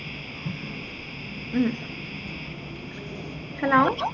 ഉം hello